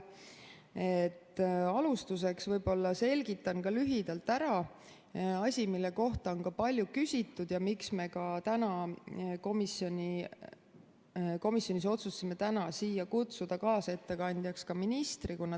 Alustuseks selgitan lühidalt ära asja, mille kohta on palju küsitud ja mille pärast me ka komisjonis otsustasime täna siia kaasettekandjaks kutsuda ministri.